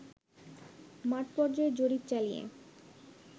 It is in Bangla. মাঠ পর্যায়ে জরিপ চালিয়ে